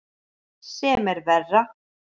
Sem er verra.